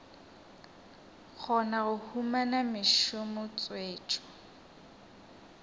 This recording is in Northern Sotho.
kgona go humana mešomo tswetšo